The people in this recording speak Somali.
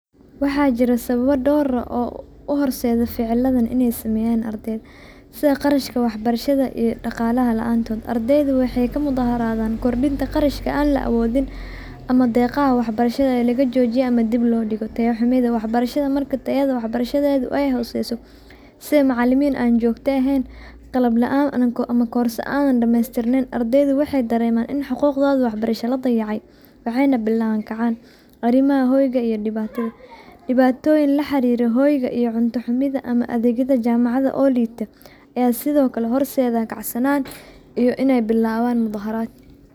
Waxaa jiraa sawaba dor ah oo u horsedo ficiladan ee sameyan qarashka wax barashaada iyo shaqalaha laanto ardeyda waxee ka mudaharadhan kordinta qarashka an la awodhin ama deqaha wax barashaada laga jojiya ama dib lo diga taya xumida, marka wax barashaada taya wax barashaadedu ee hoseso sitha macalimin an jogto ehen qalab ama korsa an damestiranin ardeyda madama in xuquqdodha wax barasha la dayace arimaha hoyga iyo diwatoyin la xariro hoyga iyo cunta xumidha adegyaada jamacaada oo lita ee sithokale horsedhan ganacsanan iyo in ee bilawan muda haraad.